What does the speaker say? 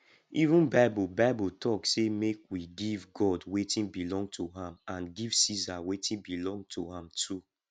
even bible bible talk say make we give god wetin belong to am and give ceasar wetin belong to am too